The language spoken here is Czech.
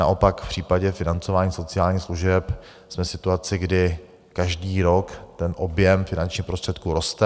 Naopak, v případě financování sociálních služeb jsme v situaci, kdy každý rok ten objem finančních prostředků roste.